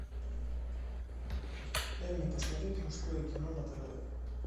дай мне посмотреть мужское кино на тв